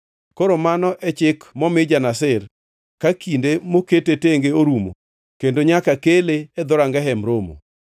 “ ‘Koro mano e chik momi ja-Nazir ka kinde mokete tenge orumo kendo nyaka kele e dhoranga Hemb Romo.